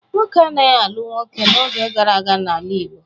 Nwoke anaghị alụ nwoke n'oge gara aga n'ala Igbo.